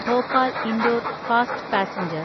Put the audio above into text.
Bhopal Indore fast passenger